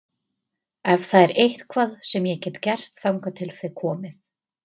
Ef það er eitthvað sem ég get gert þangað til þið komið